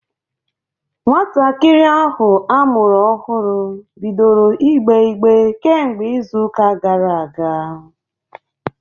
Nwatakịrị ahụ amụrụ ọhụrụ bidoro ìgbè ígbé kemgbe izu ụka gara aga.